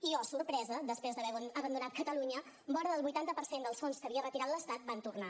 i oh sorpresa després d’haver abandonat catalunya vora del vuitanta per cent dels fons que havia retirat l’estat van tornar